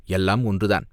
"எல்லாம் ஒன்றுதான்.